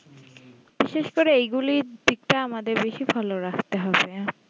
বিশেষ করে এই গুলির দিকটা আমাদের বেশি follow রাখতে হবে